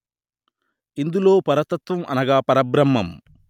ఇందులో పరతత్వం అనగా పరబ్రహ్మం